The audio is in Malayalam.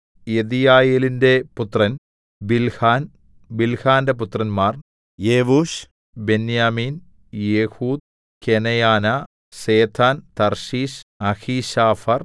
യെദീയയേലിന്റെ പുത്രൻ ബിൽഹാൻ ബിൽഹാന്റെ പുത്രന്മാർ യെവൂശ് ബെന്യാമീൻ ഏഹൂദ് കെനയനാ സേഥാൻ തർശീശ് അഹീശാഫർ